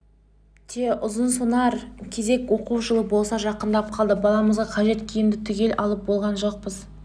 те ұзынсонар кезек оқу жылы болса жақындап қалды баламызға қажет киімді түгел алып болған жоқпыз